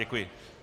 Děkuji.